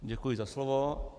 Děkuji za slovo.